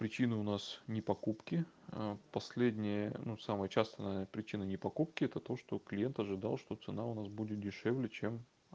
причины у нас не покупки последние но самая частая причина не покупки это то что клиент ожидал что цена у нас будет дешевле чем